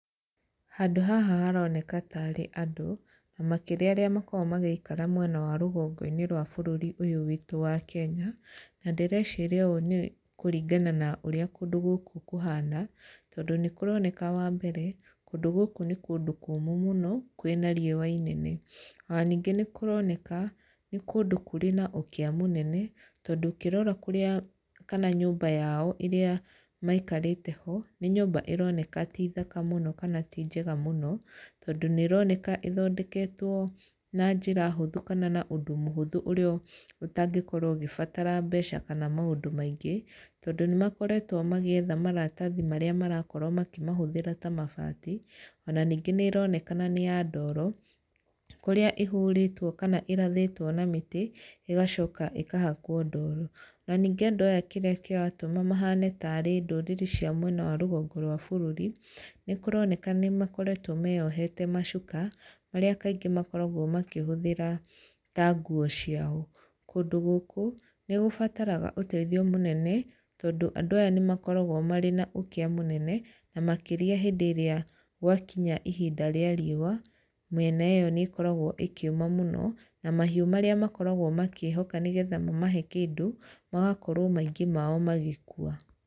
Handũ haha haroneka tarĩ andũ, na makĩria arĩa makoragwo magĩikara mwena wa rũgongo-inĩ rwa bũrũri ũyũ witũ wa Kenya. Na ndĩreciria ũũ nĩ kũringana na ũrĩa kũndũ gũkũ kũhana, tondũ nĩ kũroneka wa mbere, kũndũ gũkũ nĩ kũndũ kũmũ mũno, kwĩna riũa inene. Ona ningĩ nĩ kũroneka, nĩ kũndũ kũrĩ na ũkĩa mũnene, tondũ ũkĩrora kũrĩa kana nyũmba yao ĩrĩa maikarĩte ho, nĩ nyũmba ĩroneka ti thaka mũno kana ti njega mũno, tondũ nĩ ĩroneka ĩthondeketwo na njĩra hũthũ, kana na ũndũ mũhũthũ ũrĩa ũtangĩkorwo ũgĩbatara mbeca kana maũndũ maingĩ. Tondũ nĩ makoretwo magĩetha maratathi marĩa marakorwo makĩmahũthĩra ta mabati, ona ningĩ nĩ ĩronekana nĩ ya ndooro, kũrĩa ĩhũrĩtwo kana ĩrathĩtwo na mĩtĩ, ĩgacoka ĩkahakwo ndooro. Na ningĩ andũ aya kĩrĩa kĩratũma mahane tarĩ ndũrĩrĩ cia mwena wa rũgongo rwa bũrũri, nĩ kũroneka nĩ makoretwo meyohete macuka, marĩa kaingĩ makoragwo makĩhũthĩra ta nguo ciao. Kũndũ gũkũ, nĩ gũbataraga ũteithio mũnene, tondũ andũ aya nĩ makoragwo marĩ na ũkĩa mũnene, na makĩria hĩndĩ ĩrĩa gwakinya ihinda rĩa riũa, mĩena ĩyo nĩ ĩkoragwo ĩkĩũma mũno, na mahiũ marĩa makoragwo makĩhoka nĩgetha mamahe kĩndũ, magakorwo maingĩ mao magĩkua.